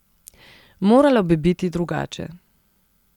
Moralo bi biti drugače.